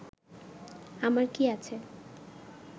আমার কি আছে